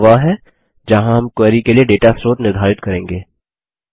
यह वह है जहाँ हम क्वेरी के लिए डेटा स्रोत निर्धारित करेंगे